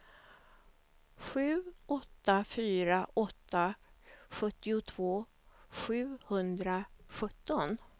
sju åtta fyra åtta sjuttiotvå sjuhundrasjutton